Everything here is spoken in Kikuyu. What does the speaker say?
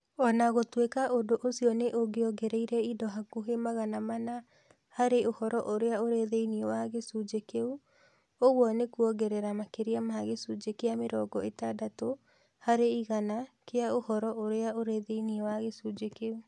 O na gũtuĩka ũndũ ũcio nĩ ũngĩongereire indo hakuhĩ magana mana harĩ ũhoro ũrĩa ũrĩ thĩinĩ wa gĩcunjĩ kĩu, ũguo nĩ kuongerera makĩria ma gĩcunjĩ kĩa mĩrongo ĩtandatũ harĩ igana kĩa ũhoro ũrĩa ũrĩ thĩinĩ wa gĩcunjĩ kĩu.